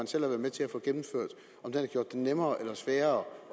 selv har været med til at få gennemført har gjort det nemmere eller sværere